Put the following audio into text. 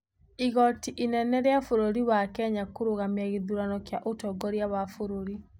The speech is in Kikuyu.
Igoti inene rĩa bũrũri wa Kenya kũrũgamia gĩthurano kĩa ũtongoria wa bũrũri